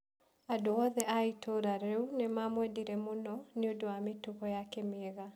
Andũ othe a itũũra rĩu nĩ maamwendire mũno nĩ ũndũ wa mĩtugo yake mĩega.